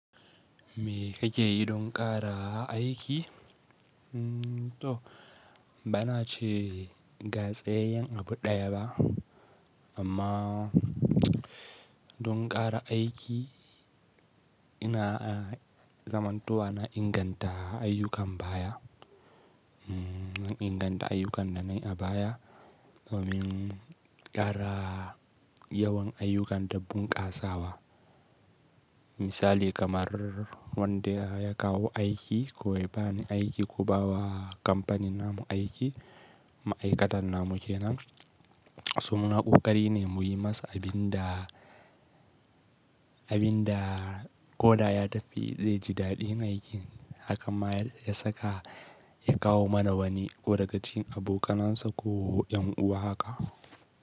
Me ka ke yi don ƙara aiki? To ba na ce ga tsayayyan abu ɗaya ba amma don ƙara aiki ina zamantowa na inganta ayyukan baya, umm na inganta ayyukan da na yi a baya domin ƙara yawan ayyukan da bunƙasawa. Misali kamar wanda ya kawo aiki ko ya bani aiki ko ba wa kamfanin namu aiki, ma'aikatan namu ke nan. So muna ƙoƙari ne mu yi masa abin da, abin da ko da ya tafi zai ji daɗin aikin hakan ma ya saka ya kawo mana wani ko daga cikin abokanansa ko yan uwa haka.